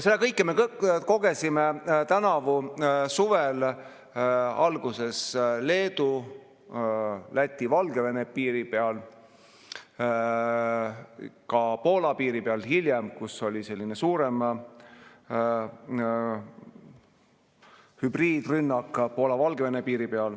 Seda kõike me kogesime tänavu suve alguses Leedu, Läti ja Valgevene piiri peal, hiljem ka Poola-Valgevene piiri peal, kus oli selline suurem hübriidrünnak.